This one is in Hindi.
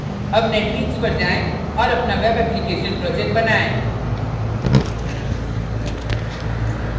अब netbeans पर जाएँ और अपना web application project बनाएँ